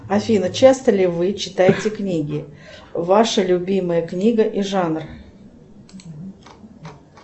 афина часто ли вы читаете книги ваша любимая книга и жанр